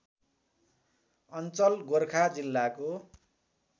अञ्चल गोरखा जिल्लाको